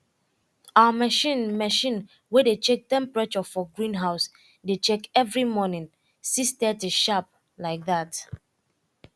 our machine machine way dey check temperature for greenhouse dey check every morning six thirty sharp like that